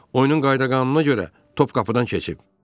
Oyunun qayda-qanununa görə, top qapıdan keçib.